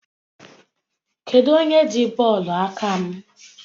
Kedụ onye ji bọọlụ aka m?